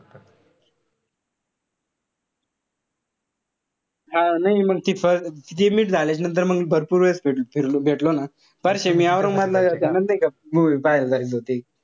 हा नाई मंग ती first ती meet झाल्याच्या नंतर मंग भरपूर वेळेस फिरलो, भेटलो ना. परश्या न मी औरंगाबाद नाई का movie पहायल जायचो.